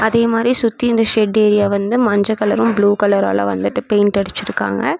அதே மாதிரி சுத்தி இந்த ஷெட் ஏரியா வந்து மஞ்ச கலரும் ப்ளூ கலரால வந்துட்டு பெயிண்ட் அடிச்சு இருக்காங்க.